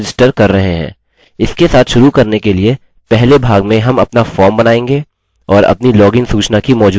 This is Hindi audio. इसके साथ शुरू करने के लिए पहले भाग में हम अपना फॉर्म बनाएँगे और अपनी लॉगिन सूचना की मौजूदगी के लिए जाँचेंगे